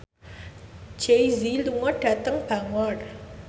Jay Z lunga dhateng Bangor